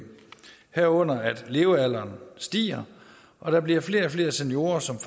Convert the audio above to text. herunder at levealderen stiger og der bliver flere og flere seniorer som